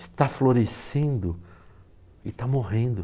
está florescendo e está morrendo.